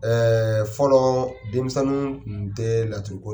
fɔlɔɔ denmisɛnninw tun tɛ laturu ko